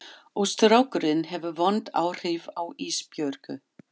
Og strákurinn hefur vond áhrif á Ísbjörgu.